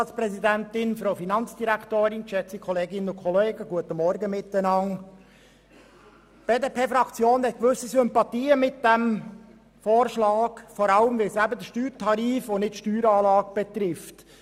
Die BDP-Fraktion hat einerseits gewisse Sympathien für diesen Vorschlag, vor allem weil er den Steuertarif und nicht die Steueranlage betrifft.